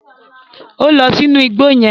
O lọ sínú ìgbò yẹn